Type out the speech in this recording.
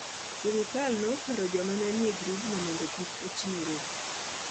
Sirkal ne okwero joma ne nie grubno mondo kik ochiwre.